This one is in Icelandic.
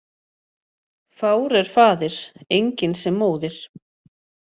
Fár er faðir, enginn sem móðir.